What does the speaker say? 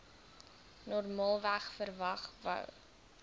normaalweg verwag wou